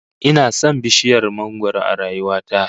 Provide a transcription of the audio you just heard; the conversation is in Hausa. Ina son bishiyar mangwaro a rayuwa ta